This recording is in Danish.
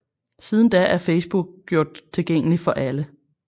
Siden da er Facebook gjort tilgængelig for alle